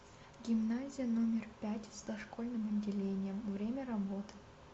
гимназия номер пять с дошкольным отделением время работы